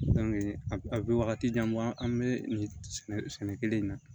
a a bɛ wagati jan bɔ an bɛ nin sɛnɛ kelen in na